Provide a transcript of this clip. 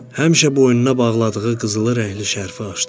Həmişə boynuna bağladığı qızılı rəngli şərfi açdım.